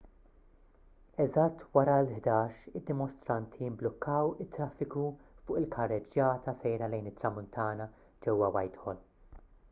eżatt wara l-11:00 id-dimostranti mblukkaw it-traffiku fuq il-karreġġjata sejra lejn it-tramuntana ġewwa whitehall